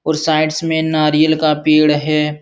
और साइड्स में नारियल का पेड़ हैं।